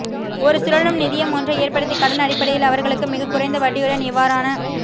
ஒரு சுழலும் நிதியம் ஒன்றை ஏற்படுத்திக் கடன் அடிப்படையில் அவர்களுக்கு மிகக் குறைந்த வட்டியுடன் இவ்வாறான